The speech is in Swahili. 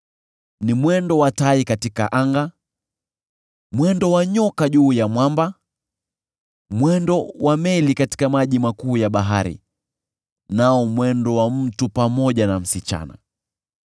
Ni mwendo wa tai katika anga, mwendo wa nyoka juu ya mwamba, mwendo wa meli katika maji makuu ya bahari, nao mwendo wa mtu pamoja na msichana.